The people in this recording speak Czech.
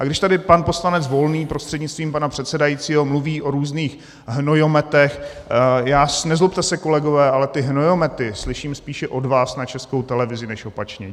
A když tady pan poslanec Volný prostřednictvím pana předsedajícího mluví o různých hnojometech - nezlobte se, kolegové, ale ty hnojomety slyším spíše od vás na Českou televizi než opačně.